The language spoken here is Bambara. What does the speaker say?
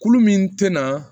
Kulu min tɛna